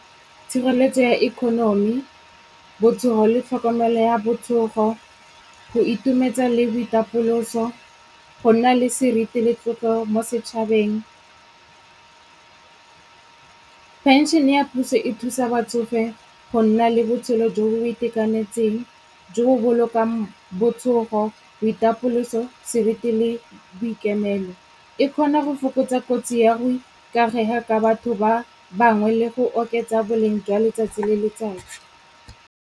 Tshireletso ya economy, botsogo le tlhokomelo ya botsogo, go itumetsa le boitapoloso, go nna le seriti le tlotlo mo setšhabeng. Phenšhene ya puso e thusa batsofe go nna le botshelo jo bo itekanetseng, jo bo bolokang botsogo, boitapoloso, sebete le boikemelo. E kgona go fokotsa kotsi ya go ikaega ka batho ba bangwe le go oketsa boleng jwa letsatsi le letsatsi.